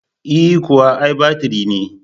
E kuwa, ai batiri ne.